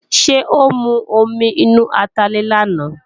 Ṣé ó mu omi inú atalẹ̀ làná?